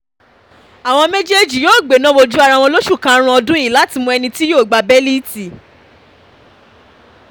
awọn méjèèjì yóò gbéná wojú ara wọn lóṣù kàárin ọdún yí láti mọ ẹni tí yóò gbá bẹ́líìtì